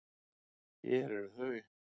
Hér eru þau.